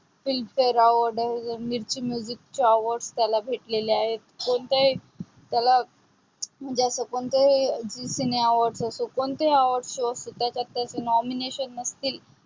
filmfare award, mirchi music awards त्याला भेटलेले आहे. कोणतीही त्याला म्हणजे कोणती असो zee cinema असो कोणतीही award show त्याच्यात त्याला nomination नसतील.